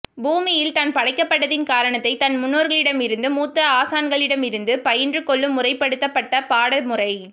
பூமியில் தான் படைக்கப்பட்டதின் காரணத்தை தன் முன்னோர்களிடமிருந்து மூத்த ஆசான்களிடமிருந்து பயின்று கொள்ளும் முறைப்படுத்தப்பட்ட பாட முறை